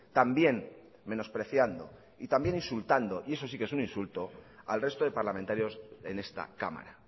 también menospreciando y también insultado y eso sí que es un insulto al resto de parlamentarios en esta cámara